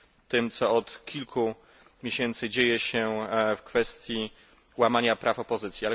tym, co od kilku miesięcy dzieje się w kwestii łamania praw opozycji.